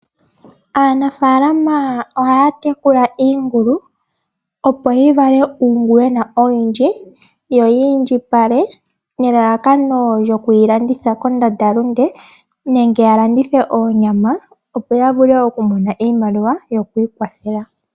Aanafalama ohaya tekula iingulu opo yivale uungulwena owundji yo oyiindjipale nelalakano yokuyilanditha kondandalunde nenge yalandithe oonyama opo yavule okumona iimaliwa yokwikwathela.